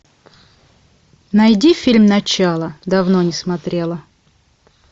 найди фильм начало давно не смотрела